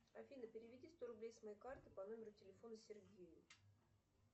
афина переведи сто рублей с моей карты по номеру телефона сергею